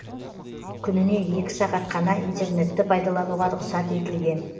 күніне екі сағат қана интернетті пайдаланауға рұқсат етілген